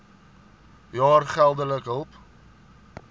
jaar geldelike hulp